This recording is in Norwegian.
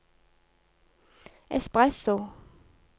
espresso